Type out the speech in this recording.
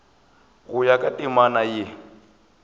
go ya ka temana ye